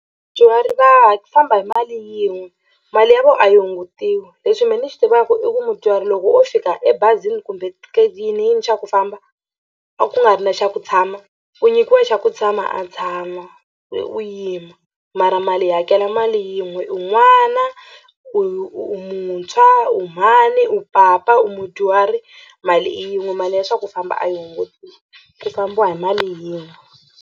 va ha famba hi mali yin'we mali ya vona a yi hungutiwi lexi mina ni xi tivaka i ku mudyuhari loko wo fika ebazini kumbe ku yiniyini xa ku famba a ku nga ri na xa ku tshama u nyikiwa xa ku tshama a tshama wena u yima mara mali hi hakela mali yin'we u n'wana u muntshwa u mhani u papa u mudyuhari mali i yin'we mali ya swa ku famba a yi hungutiwi ku fambiwa hi mali yin'we.